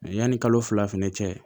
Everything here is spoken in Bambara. Yanni kalo fila fɛnɛ cɛ